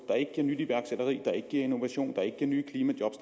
der ikke giver nyt iværksætteri der ikke giver innovation der ikke giver nye klimajob